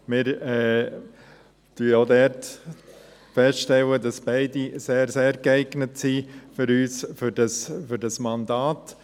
Wir stellen auch hier fest, dass für uns beide sehr, sehr geeignet sind für dieses Mandat.